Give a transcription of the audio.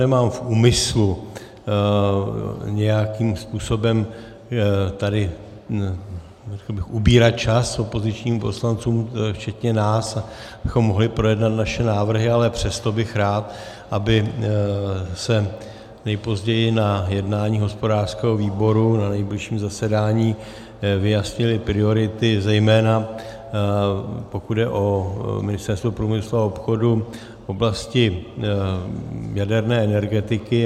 Nemám v úmyslu nějakým způsobem tady ubírat čas opozičním poslancům včetně nás, abychom mohli projednat naše návrhy, ale přesto bych rád, aby se nejpozději na jednání hospodářského výboru, na nejbližším zasedání, vyjasnily priority, zejména pokud jde o Ministerstvo průmyslu a obchodu v oblasti jaderné energetiky.